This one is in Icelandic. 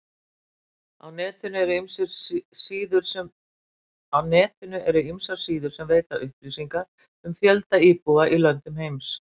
Á netinu eru ýmsar síður sem veita upplýsingar um fjölda íbúa í löndum heims.